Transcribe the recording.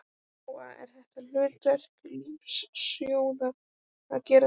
Lóa: Er þetta hlutverk lífeyrissjóðanna að gera þetta?